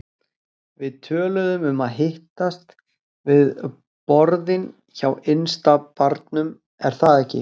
Við töluðum um að hittast við borðin hjá innsta barnum, er það ekki?